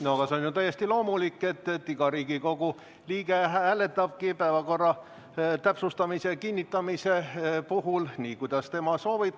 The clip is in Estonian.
No aga see on ju täiesti loomulik, et iga Riigikogu liige hääletab päevakorra täpsustamise ja kinnitamise puhul nii, kuidas tema soovib.